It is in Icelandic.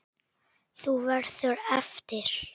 Þú verður eftir.